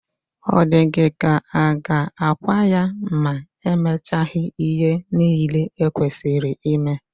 Ọ dị gị ka a ga-akwa ya ma e mechaghị ihe niile e kwesịrị ime?